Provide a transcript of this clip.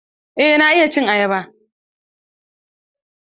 Eh na iya cin ayaba.